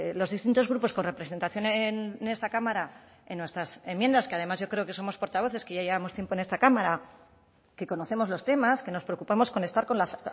los distintos grupos con representación en esta cámara en nuestras enmiendas que además yo creo que somos portavoces que ya llevamos tiempo en esta cámara que conocemos los temas que nos preocupamos con estar con las